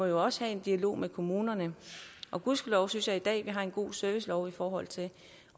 jo også være en dialog med kommunerne gudskelov synes jeg vi i dag har en god servicelov i forhold til